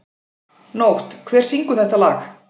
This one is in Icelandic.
Nótt, hver syngur þetta lag?